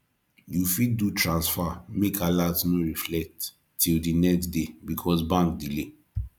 yu fit do transfer make alert no reflect till di next day because bank delay